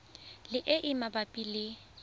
le e e mabapi le